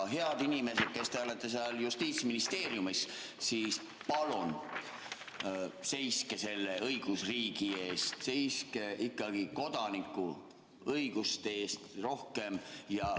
Head inimesed, kes te olete seal Justiitsministeeriumis, palun seiske selle õigusriigi eest, seiske ikkagi kodanikuõiguste eest rohkem.